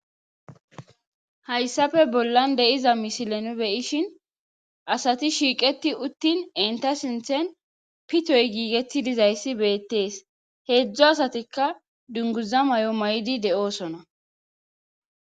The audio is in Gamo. hayssafe bollan de7iza misilene beyishin asati shiiqeti uttin enta sinthen pitoy giigetti dizayssi beettees heedzdzo asatikka dunguza may7o may7idi de7oosona